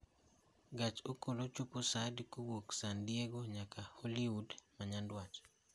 gach okolo chopo saa adi kowuok San Diego nyaka Hwood ma nyandwat